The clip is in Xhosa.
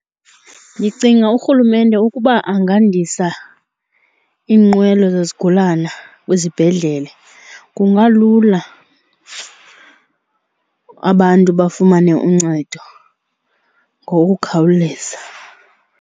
Ndicinga urhulumente ukuba angandisa iinqwelo zezigulana kwizibhedlele kungalula abantu bafumane uncedo ngokukhawuleza.